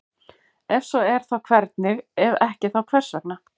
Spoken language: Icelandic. Ef svo er þá hvernig, ef ekki þá hvers vegna?